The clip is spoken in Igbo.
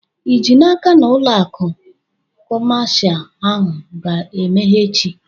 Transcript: Ị ji n'aka na ụlọ akụ kọmashal ahụ ga-emeghe echi?